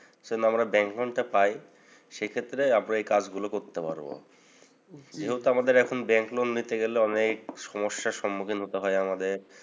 যেন আমরা ব্যাংক ঋণটা পাই। সে ক্ষেত্রে আমরা এ কাজগুলো করতে পারবো। যেহেতু আমাদের এখন ব্যাংক loan নিতে গেলে অনেক সমস্যার সম্মুখীন হতে হয় আমাদের।